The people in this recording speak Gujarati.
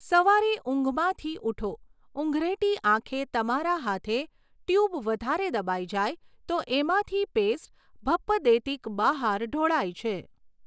સવારે ઊંઘમાંથી ઊઠો, ઊંઘરેટી આંખે તમારા હાથે ટ્યૂબ વધારે દબાઈ જાય તો એમાંથી પેસ્ટ ભપ્પ દેતીક બહાર ઢોળાય છે.